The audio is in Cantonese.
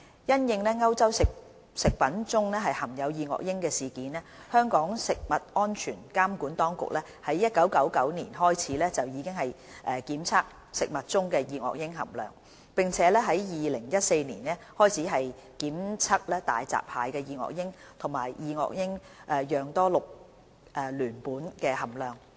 因應歐洲食物中含有二噁英的事件，香港食物安全監管當局在1999年開始檢測食物中的二噁英含量，並由2014年起檢測大閘蟹的二噁英及二噁英樣多氯聯苯含量。